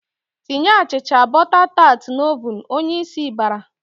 "Tinye achịcha bọta tat n'ovun!" Onyeisi bara.